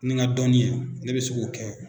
Ni n ka dɔnni ye ne bɛ se k'o kɛ.